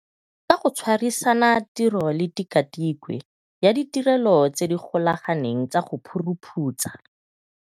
Ka go tshwa risana tiro le Tikwatikwe ya Ditirelo tse di Golaganeng tsa go Phuruphutsha.